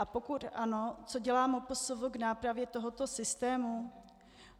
A pokud ano, co dělá MPSV k nápravě tohoto systému?